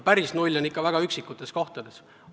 Päris null on see ikka väga üksikutes riikides.